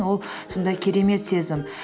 ол сондай керемет сезім